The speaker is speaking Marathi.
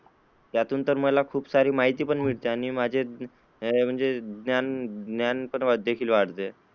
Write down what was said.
त्यातून तर मला खूप सारी माहिती पण भेटते आणि माझ्या म्हणजे ज्ञान पण वाढते.